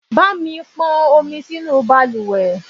Bámi pọn omi sínú bàlùwẹ̀.